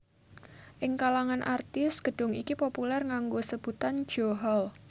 Ing kalangan artis gedung iki populer nganggo sebutan Jo Hall